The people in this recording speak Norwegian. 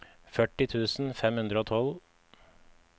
førti tusen fem hundre og tolv